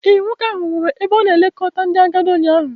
Ee, nwoke ahụ nwụrụ n'ebe a na-elekọta ndị agadi ụnyaahụ.